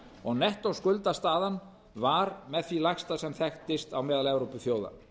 og nettó skuldastaðan var með því lægsta sem þekktist á meðal evrópuþjóða